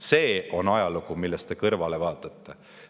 See on ajalugu, millest te kõrvale vaatate.